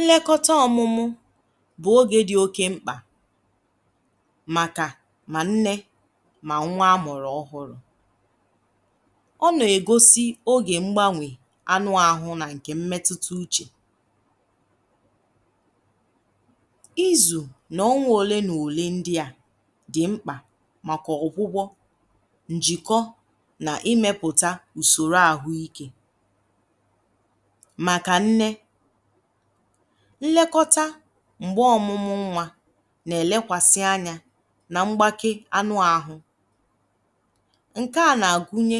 Nlekọta ọ̀mụ̀mụ̀ bụ̀ oge dị oke mkpà màkà mà nne mà nwa amụ̀rù ọhụ̄rù... Ọ n’ọ̀ na-egosi oge mgbanwè anụ ahụ nà nke mmetụ̀tá uche, izù nà ọṅụ̀. Òle mò òle ndị a dị̀ mkpà màkà ọgwụgwọ njìkọ màkà nne. um Nlekọta mgbe ọmụ̀mụ̀ nwa nà-èlèkwàsị anya nà mgbake anụ àhụ̄. Nke a nà-agụnye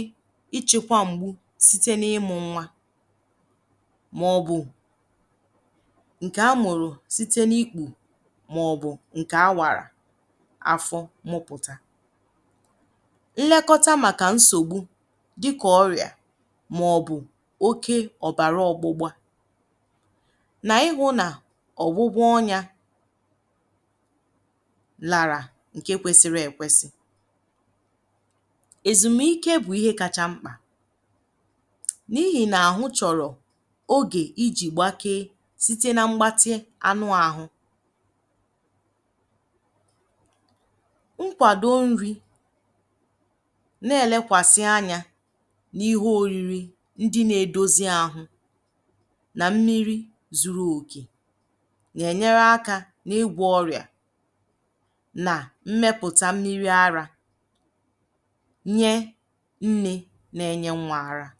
ichekwa mgbu site n’ịmụ̇ nwa, màọ̀bụ̀ nke a mụ̀rụ̀ site n’ikpù, màọ̀bụ̀ nke a wàrà afọ mụpụ̀tà. Nlekọta màkà nsògbu, òkè ọ̀bàrà, ọ̀gbụ̀gbọ̀, nà ihụ̀ nà ọ̀nyà làrà bụ̀ ihe kwesiri ekwesi. Èzùmà ike bụ̀ ihe kacha mkpà n’ihì nà àhụ̄ chọ̀rọ̀ oge ijì gbakee um Site nà mgbatị anụ àhụ̄ nà mmiri zuru òkè, a nà-enyere aka n’ịgwa ọrịa nà mmepụ̀tà mmiri àrạ̀ nye nne, nà-enye nwa àrạ̀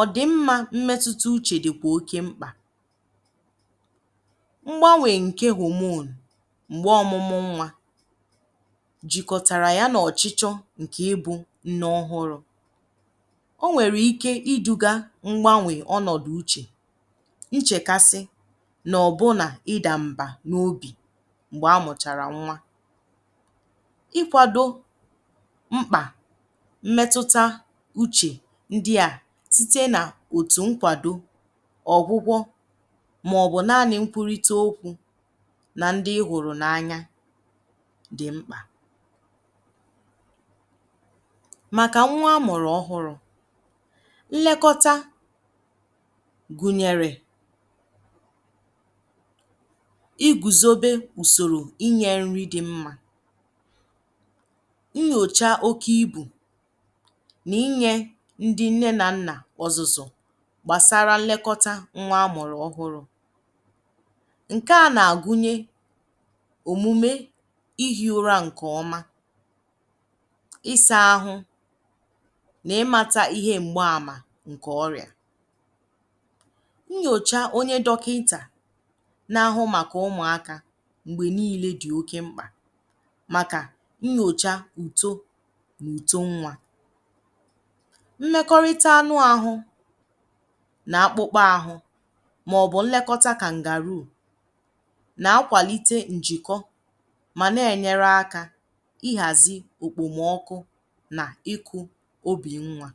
ọ̀dị̀mma. Mmetụ̀tà uche dị̀kwa oke mkpà; o nwèrè ike iduga ngwànwè ọnọ̀dụ̀ uche, nchèkàsi, nà ọ̀bụ̀ nà ịdà mba n’obì mgbe a mụ̀chàrà nwa.. Ikwàdo mkpà mmetụ̀tà uche ndị a um site nà òtù nkwàdo, ọgwụgwọ, màọ̀bụ̀ naanị̇ nkwụ̀rita okwu nà ndị i hụrụ̀ n’anya, dị mkpà. Nlekọta gùnyèrè igùzòbe ụzọ inyè nri dị mma, nnyòcha oke ibu, nà inyè ndị nne nà nna kpụ̀zùzò gbasara nlekọta nwa amụ̀rù ọhụ̄rù. um Nke a nà-agụnye omume ihi̇ ụra nke ọma, nà ịmàta ihe mgbààmà nke ọrịa. Nnyòcha onye dọkịntà na-ahụ maka ụmụaka mgbe niile dị oke mkpà,.. màkà nnyòcha uto, mà uto nwa, mmekọrịta anụ ahụ nà akpụkpọ ahụ, màọ̀bụ̀ nlekọta kà ngàrụ̀ù nà akwàlite njìkọ um Ọ nà-enyere aka ihàzi òkpòmọkụ ubì nwa.